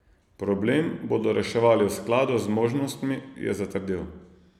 Problem bodo reševali v skladu z zmožnostmi, je zatrdil.